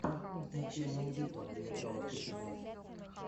покажи мне смертельная битва где играла кэти бейтс